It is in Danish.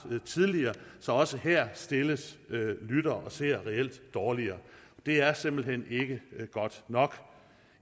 så også her stilles lyttere og seere reelt dårligere det er simpelt hen ikke godt nok